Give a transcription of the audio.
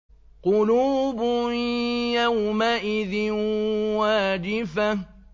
قُلُوبٌ يَوْمَئِذٍ وَاجِفَةٌ